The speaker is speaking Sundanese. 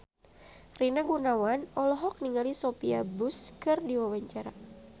Rina Gunawan olohok ningali Sophia Bush keur diwawancara